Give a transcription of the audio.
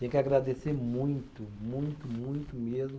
Tenho que agradecer muito, muito, muito mesmo.